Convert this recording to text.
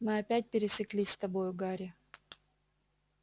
мы опять пересеклись с тобою гарри